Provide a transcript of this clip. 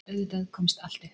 Auðvitað komst allt upp.